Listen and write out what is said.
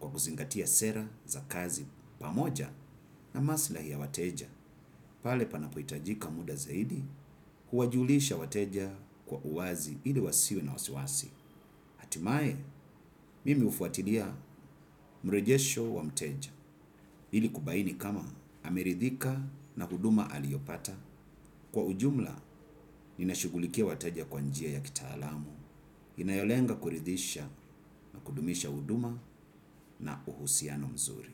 kwa kuzingatia sera za kazi pamoja na masilahi ya wateja. Pale panapoitajika muda zaidi, huwajulisha wateja kwa uwazi hili wasiwe na wasiwasi. Atimae, mimi ufuatilia mrejesho wa mteja. Hili kubaini kama ameridhika na huduma aliopata. Kwa ujumla, ninashugulikia wateja kwa njia ya kitaalamu. Inayolenga kuridhisha na kudumisha huduma na uhusiano mzuri.